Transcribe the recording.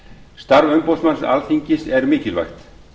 starf umboðsmanns alþingis er mikilvægt